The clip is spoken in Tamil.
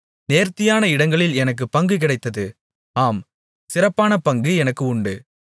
நேர்த்தியான இடங்களில் எனக்குப் பங்கு கிடைத்தது ஆம் சிறப்பான பங்கு எனக்கு உண்டு